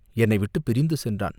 என்னை விட்டுப் பிரிந்து சென்றான்.